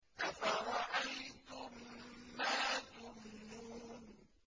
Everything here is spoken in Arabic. أَفَرَأَيْتُم مَّا تُمْنُونَ